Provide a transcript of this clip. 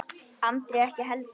Andri ekki heldur.